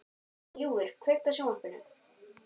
Ljúfur, kveiktu á sjónvarpinu.